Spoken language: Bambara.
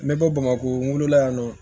N bɛ bɔ bamako la yan nɔ